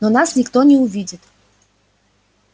но нас никто не увидит